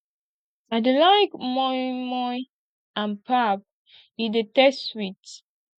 i dey like moi moi and pap e dey taste sweet